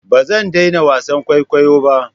Ba zan daina wasan kwaikwayo ba.